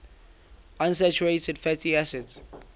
unsaturated fatty acids